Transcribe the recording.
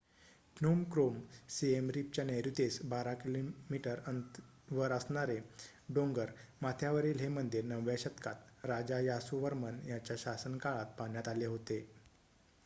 Phnom Krom Siem रिपच्या नैऋत्येस १२ किमी वर असणारे डोंगर माथ्यावरील हे मंदिर ९व्या शतकात राजा यासोवर्मन यांच्या शासनकाळात बांधण्यात आले होते